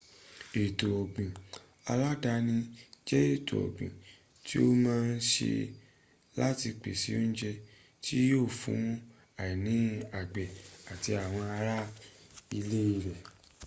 ètò ọ̀gbìn aládàáni jẹ́ ètò ọ́gbìn tí a má ń se láti pèsè oúnjẹ tí yíò fún àìní àgbẹ̀ àti àwọn ará ilé rẹ̀